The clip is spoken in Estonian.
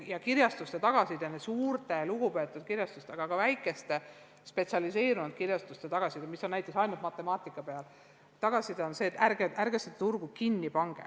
Ja kirjastuste, nii nende suurte lugupeetute kui ka väikeste spetsialiseerunud kirjastuste tagasiside näiteks matemaatika puhul on olnud selline, et ärge pange seda turgu kinni.